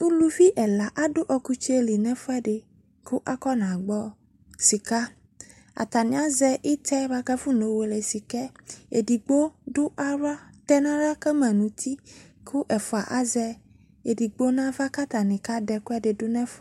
Uluvi ɛla ado ukutseli no ɛfuɛ de ka afɔna gbɔ sika Atane azɛ boa kafɔna yɔ wele sikɛEdigbo do ahla, tɛ nahla ka ma no uti ko ɛfua azɛ edigbo nahla ka atane ka de ɛkuede do nɛɛf